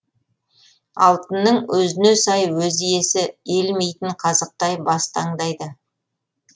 алтынның өзіне сай өз иесі иілмейтін қазықтай бас таңдайды